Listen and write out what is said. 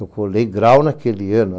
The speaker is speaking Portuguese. Eu colei grau naquele ano.